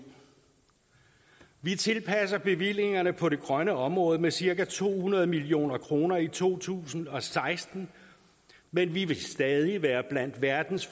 vi tilpasser bevillingerne på det grønne område med cirka to hundrede million kroner i to tusind og seksten men vi vil stadig være blandt verdens